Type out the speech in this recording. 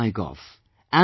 Send on Mygov